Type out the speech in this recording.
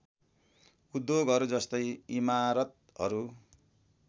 उद्योगहरू जस्तै इमारतहरू